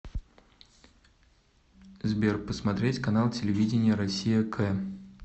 сбер посмотреть канал телевидения россия к